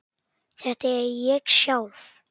Þetta er ég sjálf.